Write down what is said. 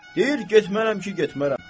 Deyir getmərəm ki, getmərəm.